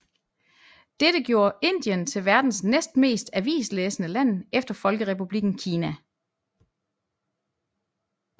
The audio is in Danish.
Dette gjorde Indien til verdens næst mest avislæsende land efter Folkerepublikken Kina